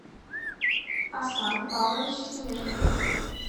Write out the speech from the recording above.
аслан павлович темежников